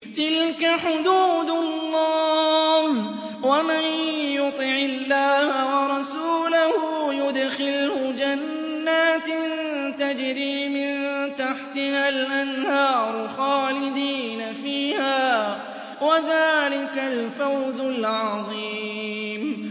تِلْكَ حُدُودُ اللَّهِ ۚ وَمَن يُطِعِ اللَّهَ وَرَسُولَهُ يُدْخِلْهُ جَنَّاتٍ تَجْرِي مِن تَحْتِهَا الْأَنْهَارُ خَالِدِينَ فِيهَا ۚ وَذَٰلِكَ الْفَوْزُ الْعَظِيمُ